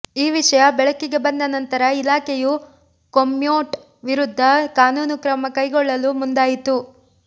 ಈ ವಿಷಯ ಬೆಳಕಿಗೆ ಬಂದ ನಂತರ ಇಲಾಖೆಯು ಕೊಮ್ಯೋಟ್ ವಿರುದ್ಧ ಕಾನೂನು ಕ್ರಮಕೈಗೊಳ್ಳಲು ಮುಂದಾಯಿತು